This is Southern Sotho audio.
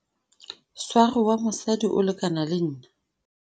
sware wa mosadi o lekana le nna